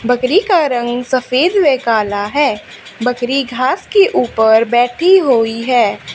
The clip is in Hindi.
बकरी का रंग सफेद वे काला है बकरी घास के ऊपर बैठी हुई है।